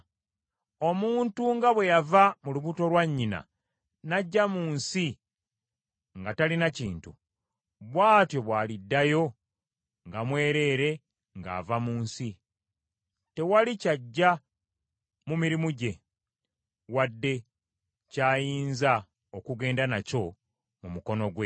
Omuntu nga bwe yava mu lubuto lwa nnyina n’ajja mu nsi nga talina kintu, bw’atyo bw’aliddayo nga mwereere ng’ava mu nsi. Tewali ky’aggya mu mirimu gye, wadde kyayinza okugenda nakyo mu mukono gwe.